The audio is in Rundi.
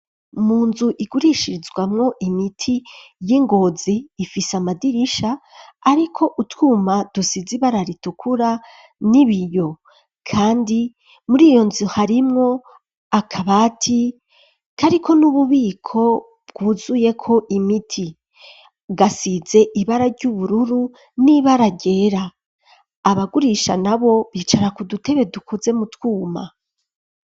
Mu nzu igurishirizwamwo imiti y'i Ngozi ifise amadirisha ariko utwuma dusizi ibara ritukura n'ibiyo kandi muri iyo nzu harimwo akabati kariko n'ububiko bwuzuyeko imiti gasize ibara ry'ubururu n'ibara ryera, abagurisha nabo bicara ku dutebe dukuze mu twuma.